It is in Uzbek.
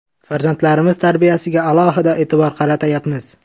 Farzandlarimiz tarbiyasiga alohida e’tibor qaratayapmiz.